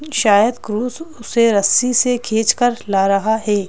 शायद क्रूज उसे रस्सी से खींच कर ला रहा है।